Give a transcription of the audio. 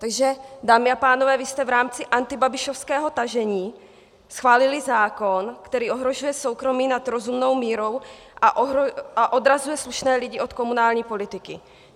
Takže dámy a pánové, vy jste v rámci antibabišovského tažení schválili zákon, který ohrožuje soukromí nad rozumnou mírou a odrazuje slušné lidi od komunální politiky.